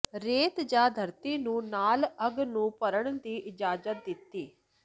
ਰੇਤ ਜ ਧਰਤੀ ਨੂੰ ਨਾਲ ਅੱਗ ਨੂੰ ਭਰਨ ਦੀ ਇਜਾਜ਼ਤ ਦਿੱਤੀ